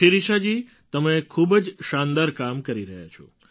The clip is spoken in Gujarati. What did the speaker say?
શિરિષાજી તમે ખૂબ જ શાનદાર કામ કરી રહ્યાં છો